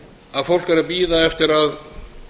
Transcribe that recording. að fólk er að bíða eftir að